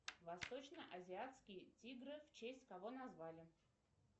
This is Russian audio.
восточно азиатские тигры в честь кого назвали